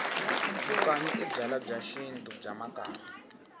vukanyi i byalwa bya xintu bya makanyi